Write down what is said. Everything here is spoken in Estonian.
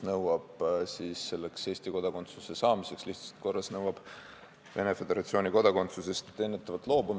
Nimelt, lihtsustatud korras Eesti kodakondsuse saamiseks tuleb eelnevalt Vene Föderatsiooni kodakondsusest loobuda.